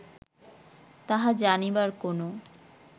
তাহা জানিবার কোন